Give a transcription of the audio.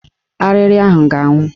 Arịrị ahụ ga-anwụ